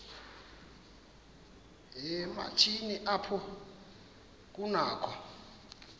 yoomatshini apho kunakho